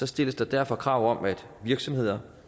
stilles der derfor krav om at virksomheder